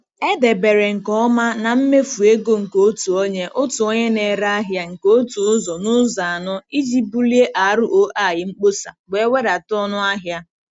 Edebere nke ọma na mmefu ego nke otu onye otu onye na-ere ahịa nke otu ụzọ n'ụzọ anọ iji bulie ROI mkpọsa wee wedata ọnụ ahịa.